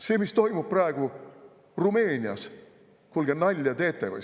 See, mis toimub praegu Rumeenias – kuulge, nalja teete või?